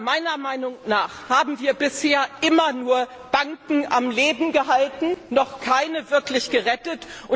Meiner Meinung nach haben wir bisher immer nur die Banken am Leben gehalten, und noch keine wirklich gerettet.